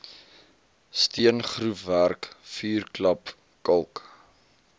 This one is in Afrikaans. steengroefwerk vuurklap kalk